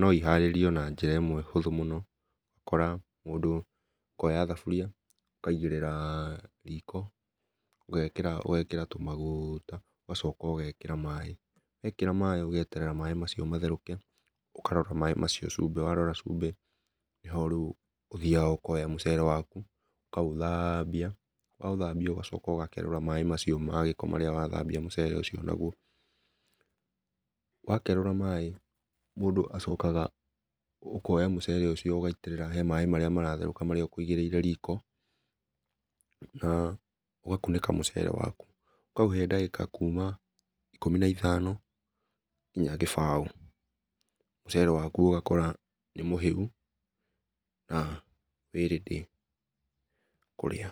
no ĩharĩrio na njĩra ĩmwe hũthũ mũno ũgakora mũndũ ũkoya thabũria ũkaĩgĩrĩra riko ũgekĩra tũmagũta ũgacoka ũgekĩra maĩ ,wekĩra maĩ ũgeterera maĩ macio matherũke ũkarora maĩ macio cũmbĩ warora cũmbĩ nĩ ho rĩũ ũthĩaga ũkoya mũcere wakũ ũkaũthambĩa waũthambia ũgacoka ũgakerũra maĩ macĩo magĩko marĩa watha mbĩa mũcere ũcĩo nagũo, wakerũra maĩ mũndũ acokaga ũkoya mũcere ũcĩo ũgaĩtĩrĩra he maĩ marĩtherũka marĩa ũkũĩgĩire riko na ũgakũnĩka mũcere wakũ ũkaũhe ndagĩka kũma ĩkũmĩ na ĩthano nginya gĩbao mecere wakũ ũgakora nĩ mũhĩũ na wĩ ready kũrĩa.